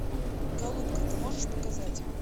голубка ты можешь показать